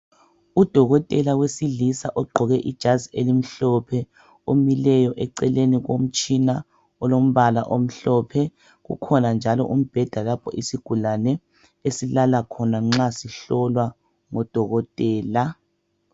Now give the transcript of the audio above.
Udokotela wesilisa ogqoke ijazi elimhlophe omileyo eceleni komtshina olombala omhlophe kukhona njalo umbheda lapho isigulane esilala khona nxa sihlolwa ngodokotela.